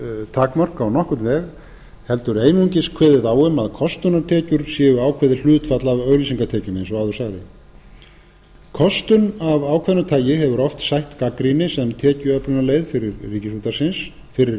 takmörk á nokkurn veg heldur einungis kveðið á um að kostunartekjur séu ákveðið hlutfall af auglýsingatekjum eins og áður sagði kostun af ákveðnu tagi hefur oft sætt gagnrýni sem tekjuöflunarleið fyrir